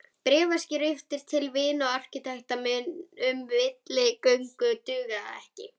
Bréfaskriftir til vina og arkitekta um milligöngu duga ekki.